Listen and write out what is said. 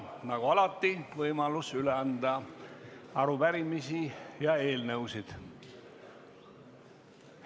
Nagu alati, on võimalus üle anda arupärimisi ja eelnõusid.